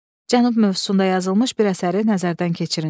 Cənub mövzusunda yazılmış bir əsəri nəzərdən keçirin.